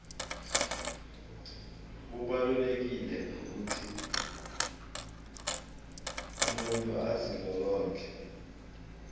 kubalulekile ukuthi umuntu azilolonge